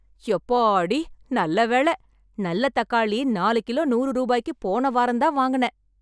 யப்பாடி ! நல்ல வேள! நல்ல தக்காளி ,நாலு கிலோ நூறு ரூபாய்க்கு போன வாரந்தான் வாங்குனேன்.